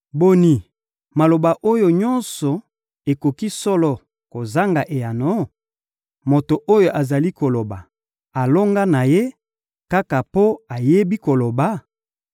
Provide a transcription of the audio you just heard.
«Boni, maloba oyo nyonso ekoki solo kozanga eyano? Moto oyo azali koloba alonga na ye, kaka mpo ayebi koloba?